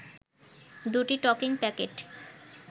দুটি টকিং প্যাকেট